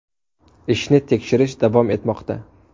Ishni tekshirish davom etmoqda.